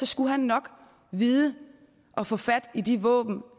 skulle han nok vide at få fat i de våben